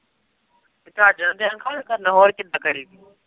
ਤੇ ਚੱਜ ਨਾਲ ਤੇ ਗੱਲ ਕਰਨਾ, ਹੋਰ ਕਿੱਦਾਂ ਕਰੀ।